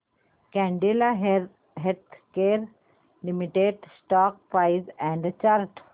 Cadila healthcare limited stock price and chart